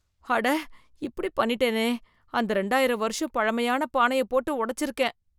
அட! இப்படி பண்ணிட்டேனே ! அந்த இரண்டாயிரம் வருஷம் பழமையான பானையைப் போட்டு உடைச்சிருக்கேன்.